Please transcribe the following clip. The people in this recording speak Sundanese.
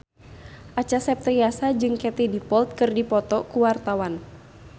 Acha Septriasa jeung Katie Dippold keur dipoto ku wartawan